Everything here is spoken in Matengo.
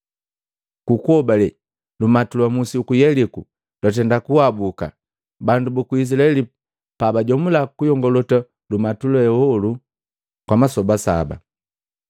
Ku kuhobale lumatu lwa musi uku Yeliko lwatenda kuhabuka, bandu buku Izilaeli pa bajomula kuyongolota lumatu ye hei kwa masoba saba.